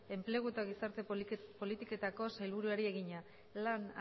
enplegu eta gizarte politiketako sailburuari egina lan